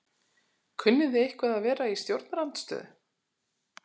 Kunnið þið eitthvað að vera í stjórnarandstöðu?